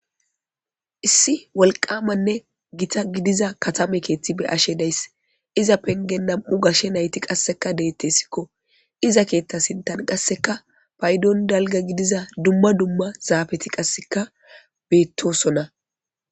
Issi gittane woliqama kethi gidida katama kethi be'ashe dayis iza penigen na'mu gashe nayiti qaseka de'etesko iza kethan qaseka duma duma zapeti betosona